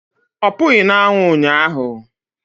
Ọ pụghị na anwụ ụnyaahụ